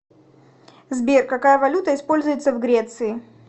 сбер какая валюта используется в греции